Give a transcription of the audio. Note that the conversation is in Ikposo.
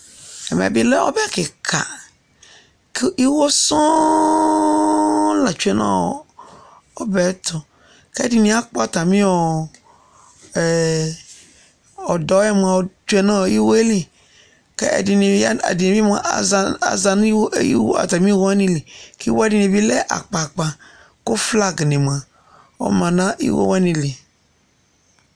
Ɛmɛ bɩ lɛ ɔbɛ kɩka kʋ iwo sɔŋ la tsue nʋ ɔbɛ yɛ tʋ kʋ ɛdɩnɩ akpɔ atamɩ ɔ ɛ ɔdɔ yɛ mʋa tsue nʋ iwo yɛ li kʋ ɛdɩnɩ ya nʋ, ɛdɩ bɩ mʋa, ɔza, aza nʋ iwo atamɩ iwo wanɩ li kʋ iwo dɩnɩ bɩ lɛ akpa akpa kʋ flagnɩ ma Ɔma nʋ iwo wanɩ li